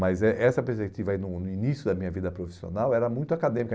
Mas eh essa perspectiva, aí no no início da minha vida profissional, era muito acadêmica.